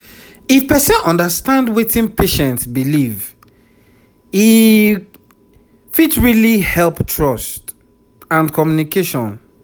if person understand wetin patient believe e fit really help trust and communication